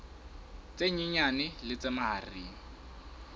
tse nyenyane le tse mahareng